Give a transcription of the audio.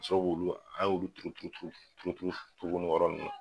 Ka sɔrɔ k'olu, an y'olu turu turu turu tuguni o yɔrɔ nunnu na.